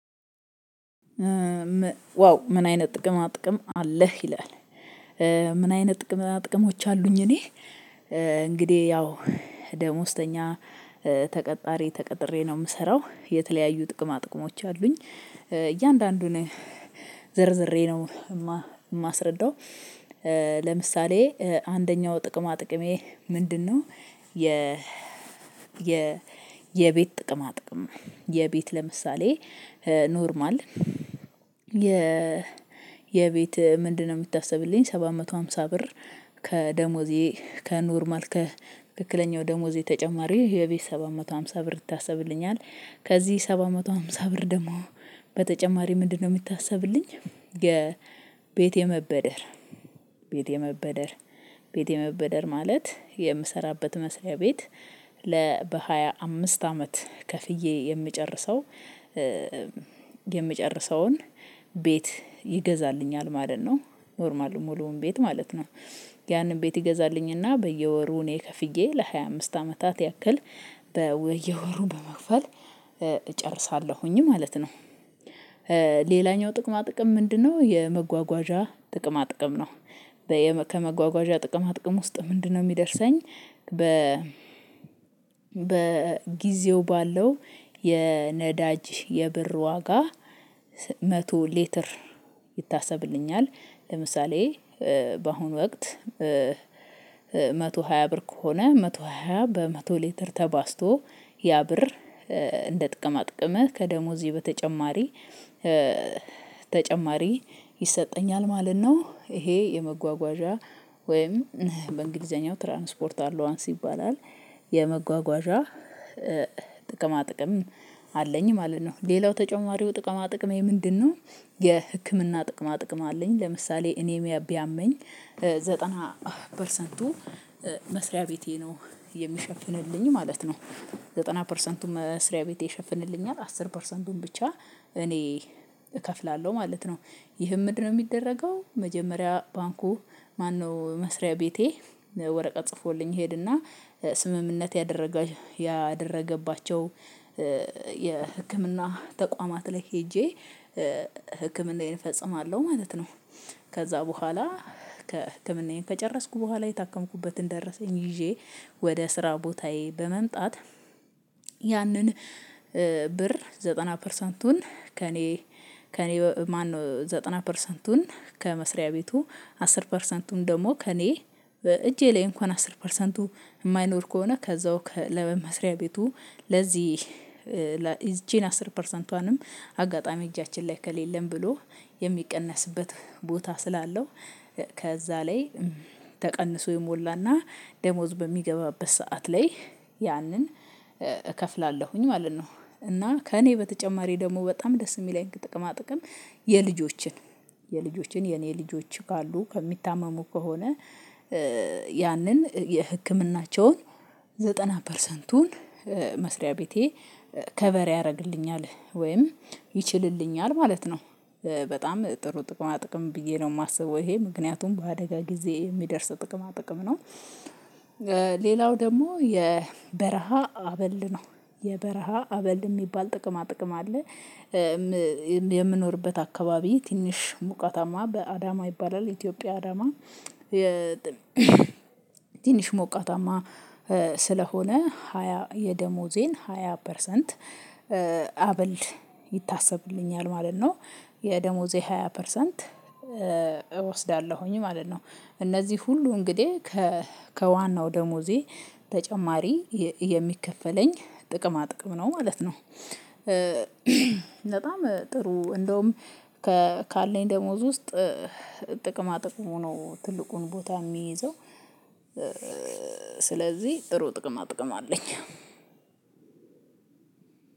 "ዋው ምን አይነት ጥቅማጥቅም አለህ?" ይላል፤ ምን አይነት ጥቅማጥቅሞች አሉኝ እኔ፤ እንግዲህ ያው ደሞዝተኛ ተቀጣሪ ተቀጥሬ ነው የምሰራው። የተለያዩ ጥቅማጥቅሞች አሉኝ። እያንዳንዱን ዘርዝሬ ነው የማስረዳው። ለምሳሌ አንደኛው ጥቅማጥቅሜ ምንድነው? የ የ የ የቤት ጥቅማጥቅም የቤት ለምሳሌ ኖርማል የ የቤት ምንድነው የምታስብልኝ ሰባት መቶ ሃምሳ ብር ከደሞዜ ከኖርማል ከትክክለኛው ደሞዜ ተጨማሪ የቤት ሰባ መቶ ሃምሳ ብር ይታስብልኛል። ከዚህ ሰባት መቶ ሃምሳ ብር ደግሞ በተጨማሪ ምንድነው የሚታሰብልኝ? የቤቴ የመበደር ቤት የመበደር ቤት የመበደር ማለት የምሰራበት መስሪያ ቤት ለ በሃያ አምስት አመት ከፍዬ የምጨርሰው የምጨርሰውን ቤት ይገዛልኛል ማለት ነው። ኖርማሉ ሙሉውን ቤት ማለት ነው። ያንን ቤት ይገዛልኝና በየወሩ እኔ ከፍዬ ለ ሃያ አምስት አመታት ያክል በየወሩ በመክፈል እጨርሳለሁኝ ማለት ነው። ሌላኛው ጥቅማጥቅም ምንድነው? የመጓጓዣ ጥቅማ ጥቅም ነው። ከመጓጓዣ ጥቅማ ጥቅም ውስጥ ምንድነው የሚደርሰኝ? በ በጊዜው ባለው የነዳጅ የብር ዋጋ መቶ ሌተር ይታሰብልኛል። ለምሳሌ በአሁኑ ወቅት ሃያ ብር ከሆነ መቶ ሃያ በመቶ ሊትር ተባዝቶ ያ ብር እንደ ጥቅማጥቅመህ ከደሞዜ በተጨማሪ ተጨማሪ ይሰጠኛል ማለት ነው። ይሄ የመጓጓዣ ወይም በእንግሊዘኛው ትራንስፖርት አሎአንስ ይባላል። የመጓጓዣ ጥቅማጥቅም አለኝ ማለት ነው። ሌላው ተጨማሪው ጥቅማ ጥቅሜ ምንድነው? የህክምና ጥቅማጥቅም አለኝ። ለምሳሌ እኔ ቢያመኝ ዘጠና ፐርሰንቱ መስሪያ ቤቴ ነው የሚሸፍንልኝ ማለት ነው። ዘጠና ፐርሰንቱ መስሪያ ቤቴ ይሸፍንልኛል አስር ፐርሰንቱን ብቻ እኔ እከፍላለሁ ማለት ነው። ይህም ምንድነው የሚደረገው መጀመሪያ ባንኩ ማነው መስሪያ ቤቴ ወረቀት ጽፎልኝ እሄድና ስምምነት ያደረገ ያደረገባቸው የህክምና ተቋማት ላይ ሄጄ ህክምናዬን እፈጽማለሁ ማለት ነው። ከዛ በኋላ ከ ህክምናዬን ከጨረስኩ በኋላ የታከምኩበትን ደረሰኝ ይዤ ወደ ስራ ቦታዬ በመምጣት ያንን ብር ዘጠና ፐርሰንቱን ከእኔ ከእኔ ማነው ዘጠና ፐርሰንቱን ከመስሪያ ቤቱ አስር ፐርሰንቱን ደግሞ ከእኔ እጄ ላይ እንኳን አስር ፐርሰንቱ የማይኖር ከሆነ ከዛው ከ ለመስሪያ ቤቱ ለዚህ እቺን አስር ፐርሰንቷንም አጋጣሚ እጃችን ላይ ከሌለን ብሎ የሚቀነስበት ቦታ ስላለው ከዛ ላይ ተቀንሶ ይሞላና ደሞዝ በሚገባበት ሰዓት ላይ ያንን እከፍላለሁኝ ማለት ነው፤ እና ከእኔ በተጨማሪ ደግሞ በጣም ደስ የሚለኝ ከጥቅማጥቅም የልጆችን፣ የልጆችን የኔ ልጆች ካሉ ከሚታመሙ ከሆነ ያንን የህክምናቸውን ዘጠና ፐርሰንቱን መስሪያ ቤቴ ከቨር ያደርግልኛል ወይም ይችልልኛል ማለት ነው። በጣም ጥሩ ጥቅማጥቅም ብዬ ነው የማስበው ይሄ ምክንያቱም በአደጋ ጊዜ የሚደርስ ጥቅማ ጥቅም ነው። ሌላው ደግሞ የበረሃ አበል ነው። የበረሃ አበል የሚባል ጥቅማ ጥቅም አለ። የምኖርበት አካባቢ ትንሽ ሙቀታማ በአዳማ ይባላል የኢትዮጵያ አዳማ፤ ትንሽ ሞቃታማ ስለሆነ ሃያ የደሞዜን ሃያ ፐርሰንት አበል ይታሰብልኛል ማለት ነው። የደሞዜ ሃያ ፐርሰንት እወስዳለሁኝ ማለት ነው። እነዚህ ሁሉ እንግዲህ ከዋናው ደሞዜ ተጨማሪ የሚከፈለኝ ጥቅማ ጥቅም ነው ማለት ነው። በጣም ጥሩ እንደውም ካለኝ ደሞዝ ውስጥ ጥቅማጥቅሙ ነው ትልቁን ቦታ የሚይዘው። ስለዚህ ጥሩ ጥቅማጥቅም አለኝ።